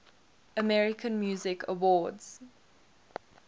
american music awards